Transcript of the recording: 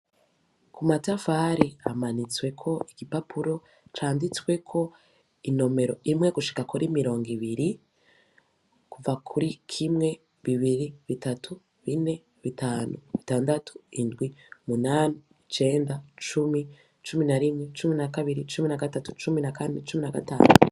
Ku matafari amanitsweko igipapuro canditsweko inomero imwe gushika kora imirongo ibiri kuva kuri kimwe bibiri bitatu bine bitanu bitandatu indwi munani icenda cumi cumi na rimwe cumi na kabiri cumi na gatatu cumi na, kandi nagatatu.